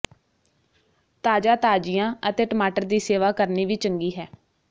ਤਾਜ਼ਾ ਤਾਜ਼ੀਆਂ ਅਤੇ ਟਮਾਟਰ ਦੀ ਸੇਵਾ ਕਰਨੀ ਵੀ ਚੰਗੀ ਹੈ